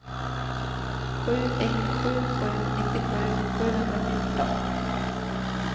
sju ett sju sju nittiosju sjuhundrafjorton